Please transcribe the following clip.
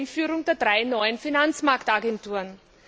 die Einführung der drei neuen Finanzmarktagenturen.